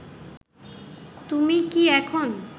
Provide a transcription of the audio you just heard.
তুমি কী এখন